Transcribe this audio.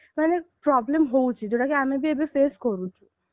ମେନେ problem ହଉଛି ଯଉଟା କି ଆମେ ବି ଏବେ face କରୁଛୁ